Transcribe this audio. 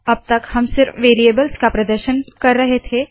अब तक हम सिर्फ वेरीयेबल्स का प्रदर्शन का कर रहे थे